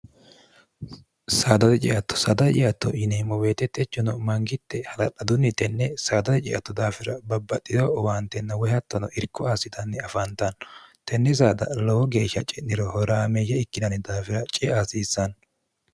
saadare ceatto saad ciatto yiniemmo weetettechino mangitte hala'ladunni tenne saadare ceatto daafira babbadhido uwaantenna woy hattono irko aasitanni afaantanno tenni saada lowo geeshsha ci'niro horaameyye ikkinanni daafira ceeaasiissanno